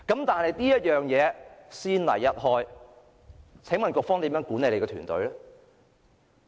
但是，先例一開，請問局方如何管理其團隊？